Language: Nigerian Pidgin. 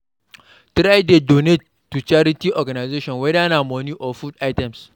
Try de donate to charity organisation whether na money or food items